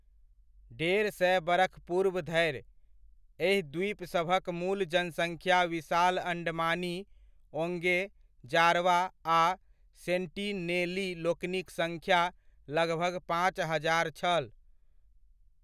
डेढ़ सए बरख पूर्व धरि, एहि द्वीपसभक मूल जनसङ्ख्या विशाल अण्डमानी, ओँगे, जारवा आ सेन्टीनेलीलोकनिक सङ्ख्या लगभग पॉंच हजार छल।